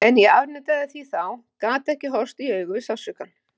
En ég afneitaði því þá, gat ekki horfst í augu við sársaukann.